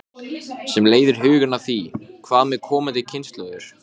Hvað er þetta eiginlega sem þið eruð að glíma við?